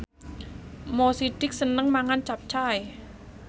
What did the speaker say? Mo Sidik seneng mangan capcay